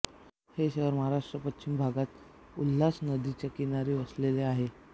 हे शहर महाराष्ट्राच्या पश्चिम भागात उल्हास नदीच्या किनारी वसलेले आहे